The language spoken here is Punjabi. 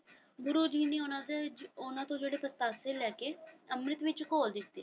ਗੁਰੂ ਜੀ ਨੇ ਉਹਨਾਂ ਤੇ ਉਹਨਾਂ ਤੋਂ ਜਿਹੜੇ ਪਤਾਸੇ ਲੈ ਕੇ ਅੰਮ੍ਰਿਤ ਵਿੱਚ ਘੋਲ ਦਿੱਤੇ ।